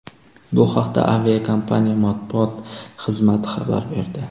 Bu haqda aviakompaniya matbuot xizmati xabar berdi .